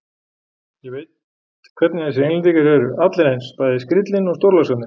Ég veit hvernig þessir Englendingar eru, allir eins, bæði skríllinn og stórlaxarnir.